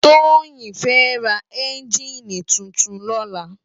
Toyin fè rá ènjini tútún lòlá